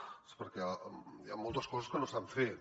doncs perquè hi han moltes coses que no s’han fet